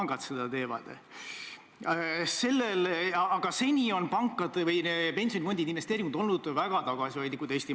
Siit siis küsimus: millal on oodata, et ka Stenbocki maja seinale pannakse okupatsiooniaegsete valitsusjuhtide pildid, nende seas näiteks Johannes Vares-Barbaruse ja Hjalmar Mäe oma?